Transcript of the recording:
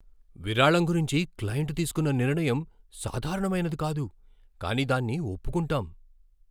విరాళం గురించి క్లయింట్ తీసుకున్న నిర్ణయం సాధారణమైనది కాదు, కానీ దాన్ని ఒప్పుకుంటాం.